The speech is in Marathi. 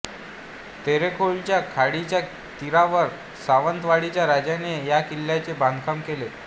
तेरेखोलच्या खाडीच्या तीरावर सावंतवाडीच्या राजाने या किल्ल्याचे बांधकाम केले